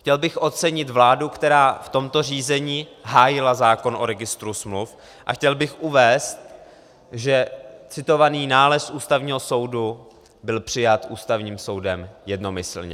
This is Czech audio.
Chtěl bych ocenit vládu, která v tomto řízení hájila zákon o registru smluv, a chtěl bych uvést, že citovaný nález Ústavního soudu byl přijat Ústavním soudem jednomyslně.